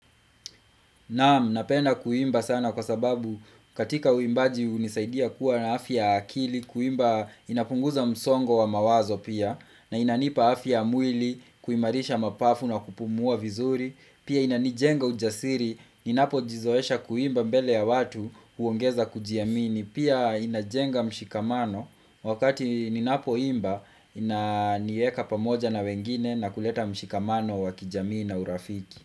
Naam, napenda kuimba sana kwa sababu katika uimbaji hunisaidia kuwa na afya ya akili, kuimba inapunguza msongo wa mawazo pia, na inanipa afya ya mwili kuimarisha mapafu na kupumua vizuri, pia inanijenga ujasiri, inapojizoesha kuimba mbele ya watu huongeza kujiamini, pia inajenga mshikamano wakati ninapoimba inanieka pamoja na wengine na kuleta mshikamano wa kijamii na urafiki.